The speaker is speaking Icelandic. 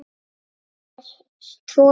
Þau eiga tvo syni.